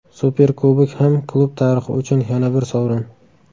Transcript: Superkubok ham klub tarixi uchun yana bir sovrin.